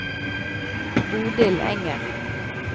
Bodil Enger